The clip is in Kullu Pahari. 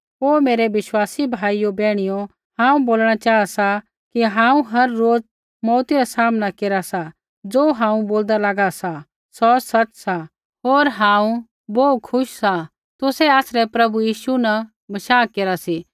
हे मेरै विश्वासी भाइयो बैहणियो हांऊँ बोलणा चाहा सा कि हांऊँ हर रोज मौऊती रा सामना केरा सा ज़ो हांऊँ बोलदा लागा सा सौ सच़ सा होर हांऊँ बोहू खुश सा कि तुसै आसरै प्रभु यीशु न बशाह केरा सी